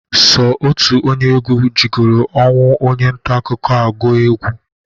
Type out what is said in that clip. Sọ otu onye egwu jigolu ọnwụ onye ntaakụkọ a gụọ egwe.